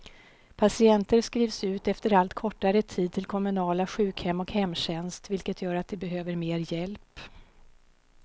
Patienter skrivs ut efter allt kortare tid till kommunala sjukhem och hemtjänst, vilket gör att de behöver mer hjälp.